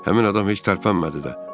Həmin adam heç tərpənmədi də.